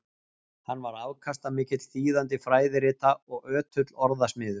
Hann var afkastamikill þýðandi fræðirita og ötull orðasmiður.